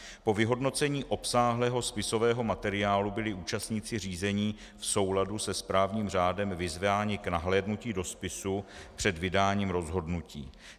Po vyhodnocení obsáhlého spisového materiálu byli účastníci řízení v souladu se správním řádem vyzváni k nahlédnutí do spisu před vydáním rozhodnutí.